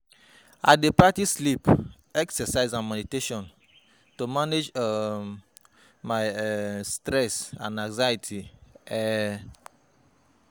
I dey prioritize sleep, exercise and meditation to manage um my um stress and anxiety. um